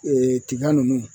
Ee tiga nunnu